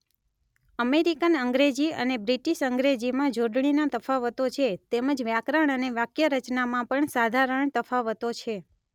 American અંગ્રેજી અને British અંગ્રેજીમાં જોડણીના તફાવતો છે તેમજ વ્યાકરણ અને વાક્યરચનામાં પણ સાધારણ તફાવતો છે